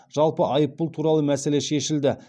жалпы айыппұл туралы мәселе шешілді